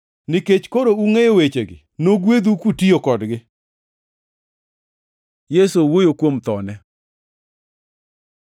Nikech koro ungʼeyo wechegi, nogwedhu kutiyo kodgi.” Yesu owuoyo kuom thone